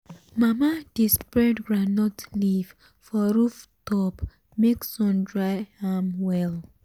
mama dey spread groundnut leaf for roof top make sun dry am well um well.